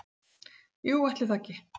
"""Jú, ætli það ekki."""